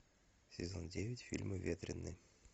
сезон девять фильма ветренный